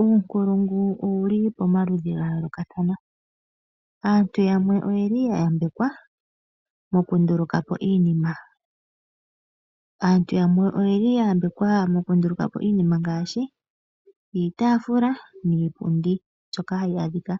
Uunkulungu owuli pomaludhi gayoolokathana . Aantu yamwe oyeli yayambekwa mokundulukapo iinima. Aantu yamwe oyeli yayambekwa mokundulukapo iinima ngaashi iitaafula niipundi mbyoka hayi adhika